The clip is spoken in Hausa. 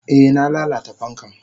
Eh na lalata fankan.